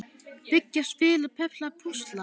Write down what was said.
Byggja- spila- perla- púsla